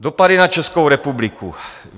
Dopady na Českou republiku.